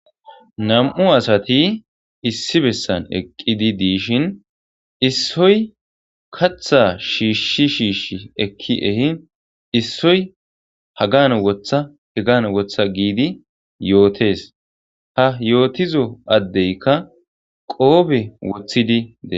Nam''u asati issi bessan eqidi dishin issoy kaththa shishi shishi eki ehin issoy Hagan woththa Hagan woththa gidi yottes ha yotizo adeykka qobe woththidi des.